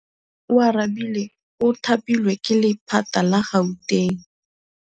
Oarabile o thapilwe ke lephata la Gauteng.